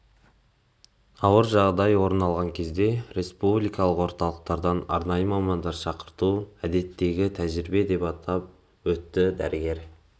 ауыр жағдай орын алған кезде республикалық орталықтардан арнайы мамандар шақырту әдеттегі тәжірибе деп атап өтті дәрігер